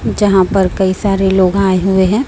जहां पर कई सारे लोग आए हुए हैं।